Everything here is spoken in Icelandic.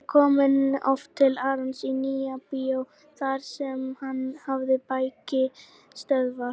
Ég kom oft til Arons í Nýja-bíó þar sem hann hafði bækistöðvar.